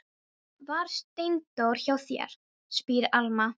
Var Steindór hjá þér, spyr Alma.